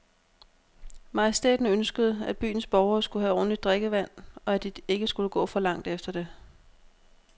Majestæten ønskede, at byens borgere skulle have ordentligt drikkevand, og at de ikke skulle gå for langt efter det.